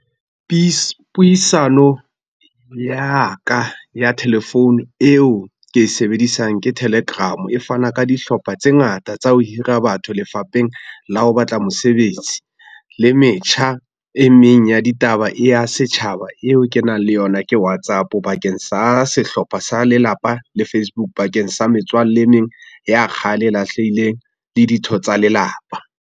Puisano, ya ka ya thelefounu eo ke e sebedisang ke Telegram, e fana ka dihlopha tse ngata tsa ho hira batho lefapheng la ho batla mosebetsi, le metjha e meng ya ditaba ya setjhaba eo ke nang le yona ke Whatsapp, bakeng sa sehlopha sa lelapa le Facebook bakeng sa metswalle e meng ya kgale e lahlehileng le ditho tsa lelapa.